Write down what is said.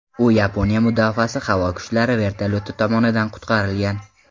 U Yaponiya mudofaasi havo kuchlari vertolyoti tomonidan qutqarilgan.